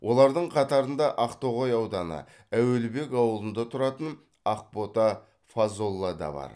олардың қатарында ақтоғай ауданы әуелбек ауылында тұратын ақбота фазолла да бар